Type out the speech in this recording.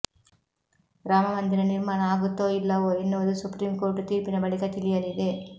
ರಾಮಮಂದಿರ ನಿರ್ಮಾಣ ಆಗತ್ತೋ ಇಲ್ಲವೊ ಎನ್ನುವುದು ಸುಪ್ರಿಂ ಕೋರ್ಟ್ ತೀರ್ಪಿನ ಬಳಿಕ ತಿಳಿಯಲಿದೆ